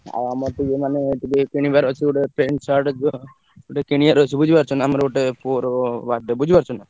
ଆଉ ଆମର ତ ଯୋଉ ମାନେ ଟିକେ କିଣିବାର ଅଛି ଗୋଟେ pant, shirt ଗୋଟେ କିଣିବା ର ଅଛି ବୁଝି ପାରୁଛ ନା ଆମର ଗୋଟେ ପୁଅ ର birthday ବୁଝି ପାରୁଛ ନା।